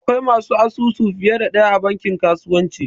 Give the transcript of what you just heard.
Akwai masu asusu fiye da ɗaya a bankin kasuwanci